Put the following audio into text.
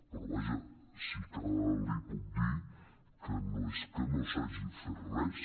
però vaja sí que li puc dir que no és que no s’hagi fet res